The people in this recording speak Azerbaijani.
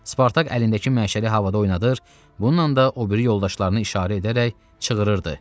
Spartak əlindəki məşəli havada oynadır, bununla da o biri yoldaşlarını işarə edərək çığırırdı: